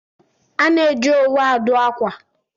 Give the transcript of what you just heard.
A na-eji owu adụ akwa